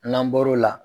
N'an bɔr'o la